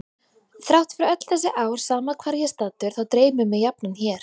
Þrátt fyrir öll þessi ár sama hvar ég er staddur þá dreymir mig jafnan hér.